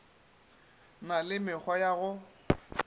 na le mekgwa ya go